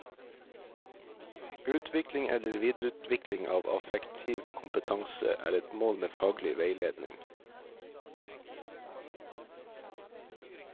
Utvikling eller videreutvikling av affektiv kompetanse er et mål med faglig veiledning.